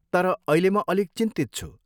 तर अहिले म अलिक चिन्तित छु।